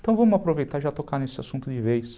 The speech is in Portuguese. Então vamos aproveitar e já tocar nesse assunto de vez.